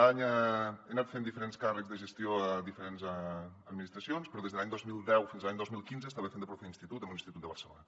he anat fent diferents càrrecs de gestió a diferents administracions però des de l’any dos mil deu fins a l’any dos mil quinze estava fent de profe d’institut a un institut de barcelona